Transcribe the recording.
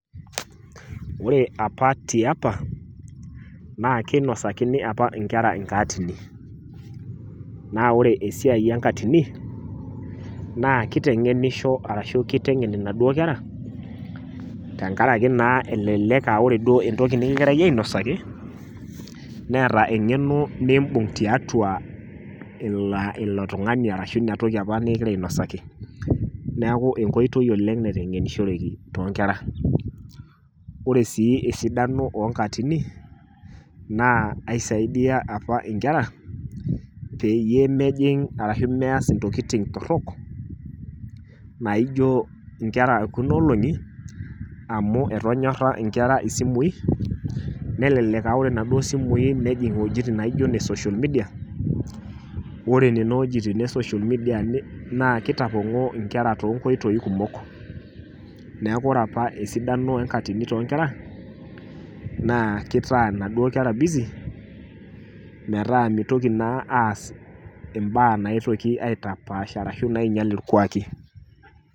Ore apa tiapa naakeinodakini apa inkera inkaatini. Naa ore esiai enkatini naa kiteng'enisho arashu keiteng'en inaduo kera tengaraki naa elelek aaore duo entoki nikigirai ainosaki neeta eng'eno niimbung' tiatua ilo tung'ani arashu inatoki apa nikigiraainosaki. Neaku enkoitoi oleng' naiteng'enishoreki toonkera. Ore sii esidano oonkatini naa aisaidia apa inkera peyie mejing' arashu meas intokitin torrok naaijo nkera ekunaoolong'i amu etonyorra inkera isimui nelelek aaore naduo simui nejing' wuejitin naijo ne social media. Ore nenowuejitin e  social media naa keitapong'oo inkera toonkoitoi kumok. Neaku ore apa esidano enkatini toonkera naa keitaa naduo kera busy metaa neitoki naa aas imbaa naaitoki aitapaash arashu naainyal ilkwaaki.